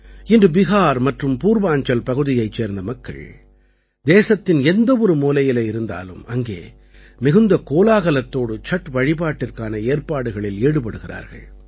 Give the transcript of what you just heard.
இன்று பிஹார் மற்றும் பூர்வாஞ்சல் பகுதியைச் சேர்ந்த மக்கள் தேசத்தின் எந்தவொரு மூலையிலே இருந்தாலும் அங்கே மிகுந்த கோலாகலத்தோடு சட் வழிபாட்டிற்கான ஏற்பாடுகளில் ஈடுபடுகிறார்கள்